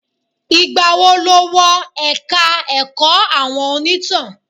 Ìgbà wo ló wọ ẹ̀ka ẹ̀kọ́ àwọn onítàn?